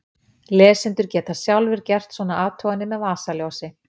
Lesendur geta sjálfir gert svona athuganir með vasaljósi!